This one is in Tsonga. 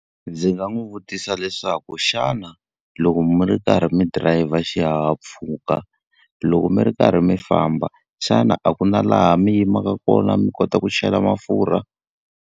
Ndzi nga n'wi vutisa leswaku xana loko mi ri karhi mi dirayivha xihahampfhuka, loko mi ri karhi mi famba xana a ku na laha mi yimaka kona mi kota ku chela mafurha?